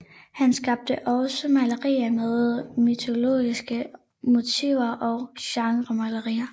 Han skabte også malerier med mytologiske motiver og genremalerier